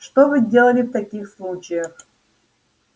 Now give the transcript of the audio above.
что вы делали в таких случаях